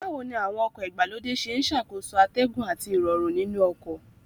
Báwo ni àwọn ọkọ̀ ìgbàlódé ṣe ń ṣàkóso atẹ́gùn àti Ìrọ̀rùn nínú ọkọ̀